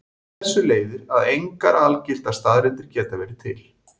Af þessu leiðir að engar algildar staðreyndir geta verið til.